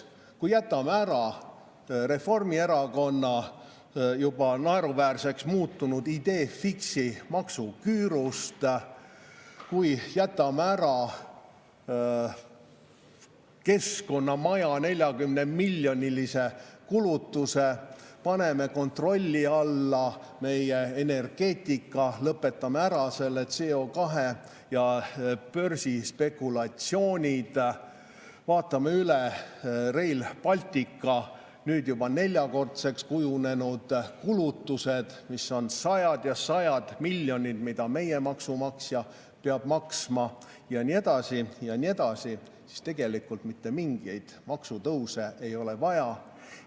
Kui jätame ära Reformierakonna juba naeruväärseks muutunud idée fixe'i maksuküürust, kui jätame ära Keskkonnamaja 40-miljonilise kulutuse, paneme kontrolli alla meie energeetika, lõpetame ära selle CO2 ja börsi spekulatsioonid, vaatame üle Rail Balticu nüüd juba neljakordseks kujunenud kulutused, mis on sajad ja sajad miljonid, mida meie maksumaksja peab maksma, ja nii edasi ja nii edasi, siis tegelikult mitte mingeid maksutõuse ei ole vaja.